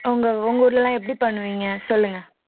அவங்க உங்க ஊர்ல எல்லாம் எப்படி பண்ணுவீங்க சொல்லுங்க